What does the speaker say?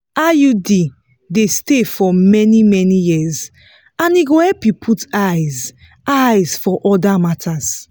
iud dey stay for many-many years and e go help you put eyes eyes for other matters.